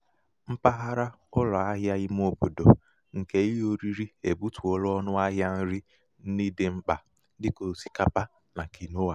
mpaghara ụlọ ahịa ímé obodo nke ihe oriri ebutuola ọnụ ahịa um nri ndị dị mkpa dị ka osikapa um na kwinoa.